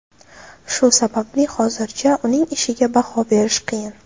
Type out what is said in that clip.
Shu sababli hozircha uning ishiga baho berish qiyin.